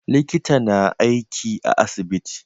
Likita na aiki a asibiti